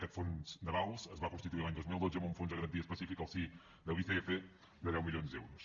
aquest fons d’avals es va constituir l’any dos mil dotze amb un fons de garantia específica al si de l’icf de deu milions d’euros